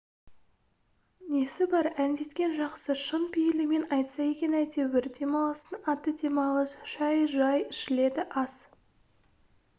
несі бар әңдеткен жақсы шын пейілімен айтса екен әйтеуір демалыстың аты демалыс шай жай ішіледі ас